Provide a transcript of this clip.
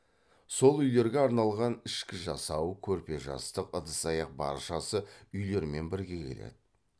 сол үйлерге арналған ішкі жасау көрпе жастық ыдыс аяқ баршасы үйлермен бірге келеді